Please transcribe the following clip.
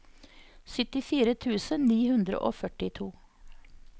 syttifire tusen ni hundre og førtito